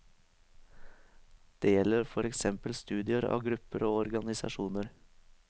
Det gjelder for eksempel studier av grupper og organisasjoner.